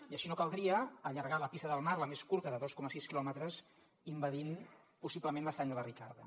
i així no caldria allargar la pista del mar la més curta de dos coma sis quilòmetres envaint possiblement l’estany de la ricarda